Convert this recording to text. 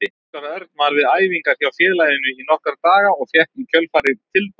Óskar Örn var við æfingar hjá félaginu í nokkra daga og fékk í kjölfarið tilboð.